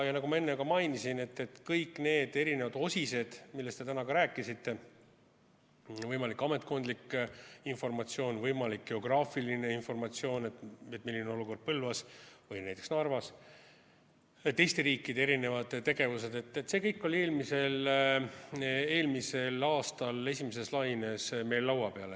Ja nagu ma enne ka mainisin, et kõik need eri osised, millest te täna ka rääkisite – võimalik ametkondlik informatsioon, võimalik geograafiline informatsioon, milline on olukord Põlvas või näiteks Narvas, teiste riikide erinevad tegevused –, see kõik oli eelmisel aastal esimeses laines meil laua peal.